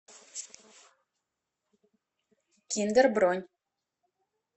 киндер бронь